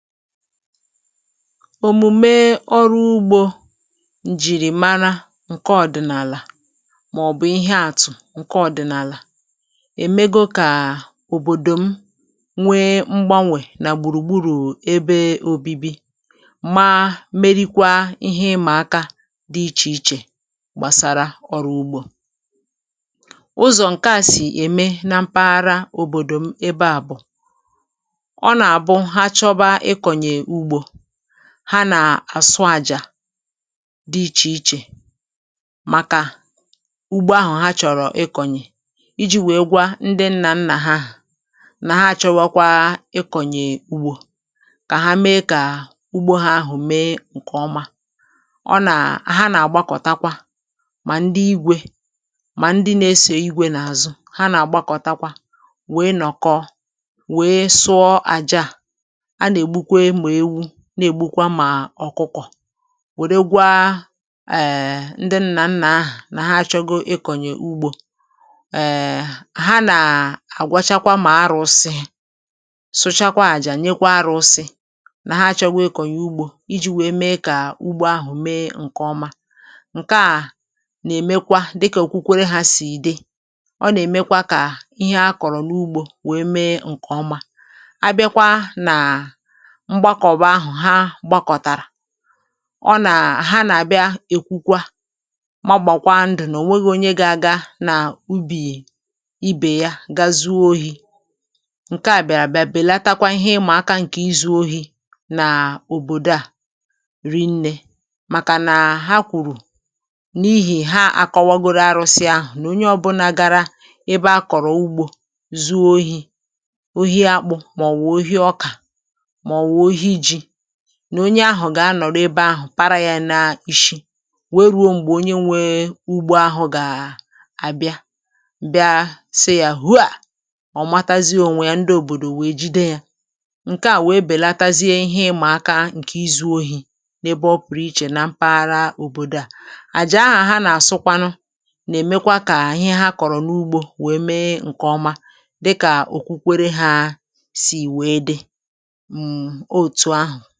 òmùme ọrụ ugbȯ, ǹjìrìmara nke ọ̀dị̀nàlà màọ̀bụ̀ ihe àtụ̀ nke ọ̀dị̀nàlà, èmego kà òbòdò m nwee mgbanwè nà gbùrùgburù ebe òbibi, mà merikwa ihe ịmàaka dị ichè ichè gbàsara ọrụ ugbȯ. ụzọ̀ nke a sì ème na mpaghara òbòdò m ebe a bụ̀ ha nà-àsụ àjà dị ichè ichè màkà ugbo ahụ̀ ha chọ̀rọ̀ ikọ̀nyè, iji̇ wèe gwa ndị nnà nnà ha ahụ̀ nà ha chọwọkwa ikọ̀nyè ugbȯ kà ha mee kà ugbȯ ha ahụ̀ mee ǹkè ọma. ọ nà ha nà-àgbakọtakwa mà ndị igwė, mà ndị na-esè igwė n’àzụ ha nà-àgbakọtakwa, um wèe nọ̀kọ̀, wèe sụọ àjà, na-ègbukwa mà ọ̀kụkọ̀, wèregwa èè ndị nnà nnà ahụ̀ nà ha chọgo ikọ̀nyè ugbȯ. èè, ha nà-àgwachakwa mà arụ̇sị, sụchakwaà jà, nyekwa arụ̇sị nà ha chọgwa ekọ̀nyè ugbȯ iji̇ wèe mee kà ugbȯ ahụ̀ mee ǹkè ọma. ǹke à nà-èmekwa dịkà òkwukwere ha sì ìde. ọ nà-èmekwa kà ihe a kọ̀rọ̀ n’ugbȯ wèe mee ǹkè ọma. um ọ nà ha nà-àbịa, èkwukwa, magbàkwa ndụ̀, nà ò nweghi̇ onye gị̇ aga nà ubì ibè ya gazu oyi̇. ǹke à bị̀àràbịa bèlata kwa ihe ịmàaka ǹkè izu̇ ohi̇ nà òbòdò à ri nnė, màkà nà ha kwùrù n’ihì ha à kọwagoro arụ̇sị ahụ̀, nà onye ọbụlà gara ebe a kọ̀rọ̀ ugbȯ zuo oyi̇, um nà onye ahụ̀ gà-anọ̀rọ ebe ahụ̀, para yȧ na-ishi, wee ruo m̀gbè onye nwee ugbo ahụ̇ gà-àbịa bịa sị yȧ hụ, à ọ̀ matazị o nwè yà. ndị òbòdò wèe jide yȧ. ǹke à wèe bèlatazịa ihe ịmàaka ǹkè izu̇ ohi̇ n’ebe ọ pụ̀rụ ichè. um na mpaghara òbòdò à àjị ahụ̀ a nà-àsụkwanụ nà-èmekwa kà àhị ihe ha kọ̀rọ̀ n’ugbȯ wèe mee ǹkè ọma, dịkà òkwukwere hȧ sì wèe dị ǹọ̀.